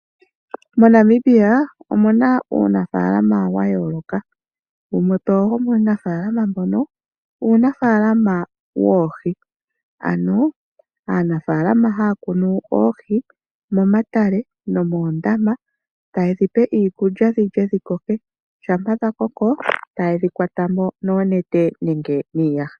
MoNamibia omu na uunafalama wa yooloka mwakwatelwa oku muna oohi. Aanafaalama ohaya kunu oohi momatale nomoondama eta yedhi pe iikulya dhilye dhiwape dhi koke. Uuna dha koko ohayedhi kwatamo noonete nenge niiyaha.